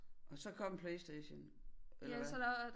Og så kom PlayStation eller hvad